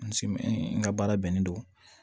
N ka baara bɛnnen don